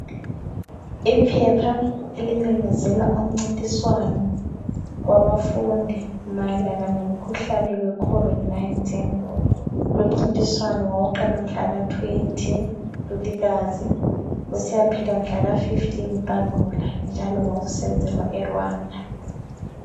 Iphepha elimemezela umncintiswano wabafundi mayelana lomkhuhlane we COVID 19. Lowu umncintiswano wawuqala mhlaka 20 Ntulikazi usiyaphela mhlaka 15 Mpandula njalo wawusenzelwa e Rwanda